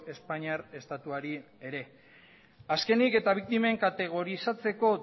espainiar estatuari ere azkenik eta biktimen kategorizatzeko